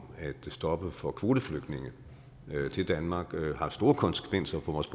at stoppe for kvoteflygtninge til danmark har store konsekvenser for vores